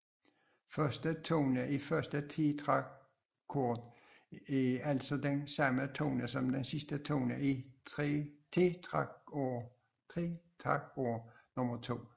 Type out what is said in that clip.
Første tone i første tetrakord er altså den samme tone som sidste tone i tetrakord nummer to